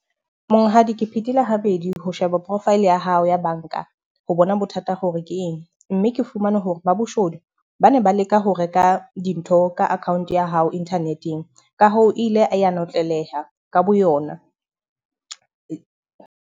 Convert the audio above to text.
Monghadi ke phethile habedi ho sheba profile ya hao ya banka ho bona bothata hore ke eng. Mme ke fumane hore ba boshodu ba ne ba leka ho reka dintho ka account ya hao internet-eng ka ho ile a ya notleleha ka boyona.